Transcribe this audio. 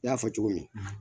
I y'a fɔ cogo min